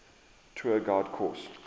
tour guide course